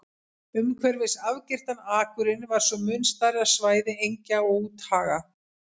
Umhverfis afgirtan akurinn var svo mun stærra svæði engja og úthaga.